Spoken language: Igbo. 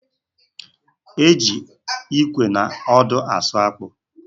E ji ịkwe na ọdụ asụ akpụ